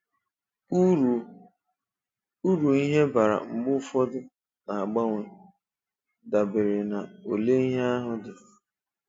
Úru Úru ihe bara mgbe ụfọdụ ná-agbanwe, dabere na ole ihe ahụ dị.